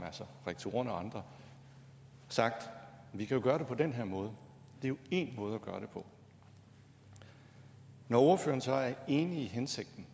rektorerne og andre sagt at vi kan gøre det på den her måde det er jo én måde at gøre det på når ordføreren så er enig i hensigten